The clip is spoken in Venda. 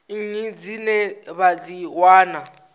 nnyi dzine vha dzi wana